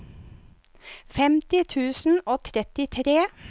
femti tusen og trettitre